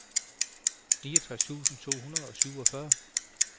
niogtres tusind to hundrede og syvogfyrre